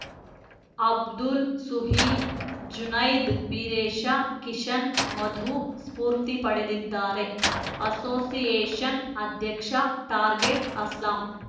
ಅಬ್ದುಲ್‌ ಸುಹೀಲ್‌ ಜುನೈದ್‌ ಬೀರೇಶ ಕಿಶನ್‌ ಮಧು ಸ್ಫೂರ್ತಿ ಪಡೆದಿದ್ದಾರೆ ಅಸೋಸಿಯೇಷನ್‌ ಅಧ್ಯಕ್ಷ ಟಾರ್ಗೆಟ್‌ ಅಸ್ಲಾಂ